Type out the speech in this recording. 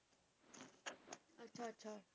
ਅੱਛਾ ਅੱਛਾ